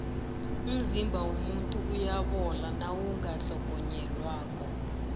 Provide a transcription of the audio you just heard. umzimba womuntu uyabola nawungatlhogonyelwako